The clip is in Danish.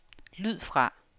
lyd fra